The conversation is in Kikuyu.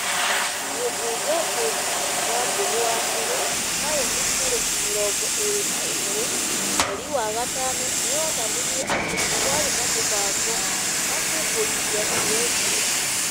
Mũmbunge Ngũnjiri Wambũgũ wa Nyerĩ taũni tarĩki mĩrongo ĩrĩ na ĩmwe, mweri wa gatano nĩ onanirie atĩ nĩ kwarĩ na mũbango wa kũmbũrithia CS ũcio,